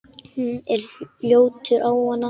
Hún er ljótur ávani.